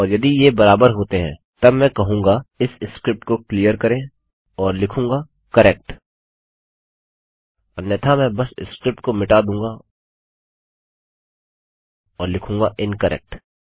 और यदि ये बराबर होते हैं तब मैं कहूँगा इस स्क्रिप्ट को क्लियर करें और लिखूँगा करेक्ट अन्यथा मैं बस स्क्रिप्ट को मिटा दूँगा और लिखूँगा इनकरेक्ट